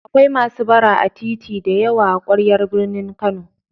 Akwai masu bara a titi da yawa a ƙwaryar birnin Kano.